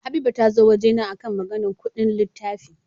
Habiba tazo wajena akan Maganar Ƙudin littafi